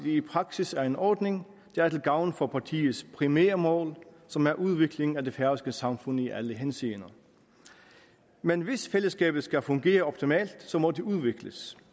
i praksis er en ordning der er til gavn for partiets primære mål som er udvikling af det færøske samfund i alle henseender men hvis fællesskabet skal fungere optimalt må det udvikles